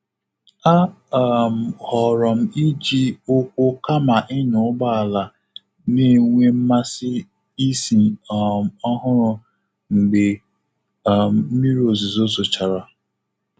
A um họrọ' m iji ụkwụ kama ịnya ụgbọ ala na-enwe mmasị ísì um ọhụrụ mgbe um mmiri ozizo zochara.